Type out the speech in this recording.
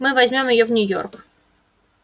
мы возьмём её в нью-йорк